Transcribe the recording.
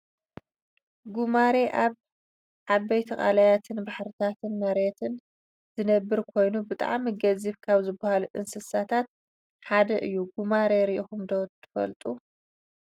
ጉማሬ ኣብ ዓበይቲ ቀላያትን ባሕርን መሬትን ዝነብር ኮይኑ ብጣዕሚ ገዚፍ ካብ ዝባሃሉ እንስሳታት ሓደ እዩ። ጉማሬ ሪኢኩም ዶ ትፈልጡ ?